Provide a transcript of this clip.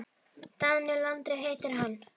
Daníel Andri heitir hann.